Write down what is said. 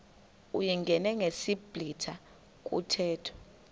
uyingene ngesiblwitha kuthethwa